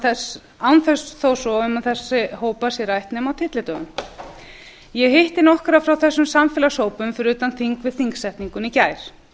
kjör án þess að um þessa hópa sé rætt nema á tyllidögum ég hitti nokkra frá þessum samfélagshópum fyrir utan þing við þingsetninguna í gær